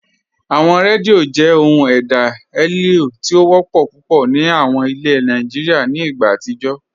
Awọn rẹ́díò jẹ́ ọhun èdá eléo ti o wọpọ́ púpọ̀ ni awọn ìlẹ̀ Nàìjíríà nì ìgbà àtijó.